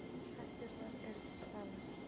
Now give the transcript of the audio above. Hætturnar eru til staðar.